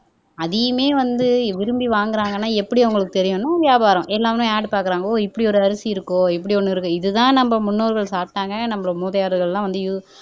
அதையுமே வந்து விரும்பி வாங்குறாங்கன்னா எப்படி அவங்களுக்கு தெரியணும் வியாபாரம் எல்லாமே ஆட் பாக்குறாங்க ஓ இப்படி ஒரு அரிசி இப்படி ஒண்ணு இருக்கும் இதுதான் நம்ம முன்னோர்கள் சாப்பிட்டாங்க நம்ம மூதாதையர்கள் எல்லாம் வந்து யூஸ்